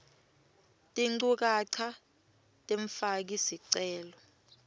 tinchukaca temfaki sicelo